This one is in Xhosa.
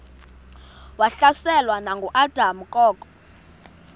wahlaselwa nanguadam kok